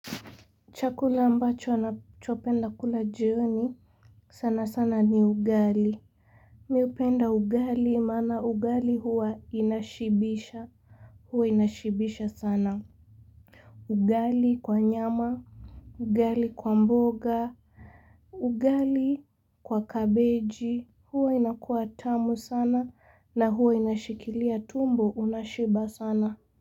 Chakula ambacho nachopenda kula jioni. Sana sana ni ugali. Mimi hupenda ugali maana ugali huwa inashibisha. Huwa inashibisha sana. Ugali kwa nyama. Ugali kwa mboga. Ugali kwa kabeji. Huwa inakuwa tamu sana na huwa inashikilia tumbo unashiba sana.